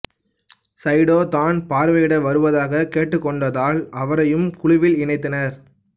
சைடோ தான் பார்வையிட வருவதாக கேட்டுக்கொண்டதால் அவரையும் குழுவில் இணைத்தனர்